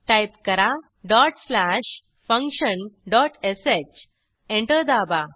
type करा dot slash function dot sh enter दाबा